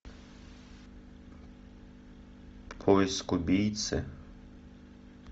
поиск убийцы